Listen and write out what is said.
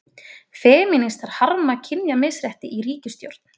Femínistar harma kynjamisrétti í ríkisstjórn